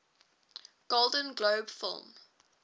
golden globe film